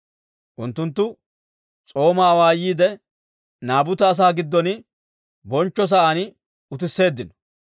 Unttunttu s'oomaa awaayiide, Naabuta asaa giddon bonchcho sa'aan utisseeddino.